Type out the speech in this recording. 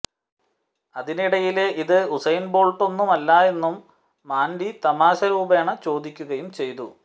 അതിനിടയില് ഇത് ഉസൈന് ബോള്ട്ടൊന്നുമല്ലലോ എന്നും മാന്ഡി തമാശരൂപേണെ ചോദിക്കുകയും ചെയ്തു